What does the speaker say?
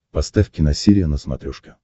поставь киносерия на смотрешке